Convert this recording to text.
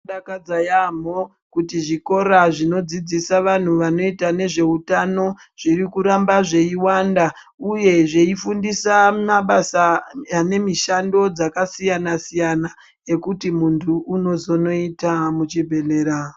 Zvinodakadza yaemho kuti zvikora zvinodzidzidzisa vanti vanoita nezvehutano zviri kuramba zveiwanda uye zveifundisa mabasa ane mishando dzakasiyana siyana dzekuti muntu inozoita.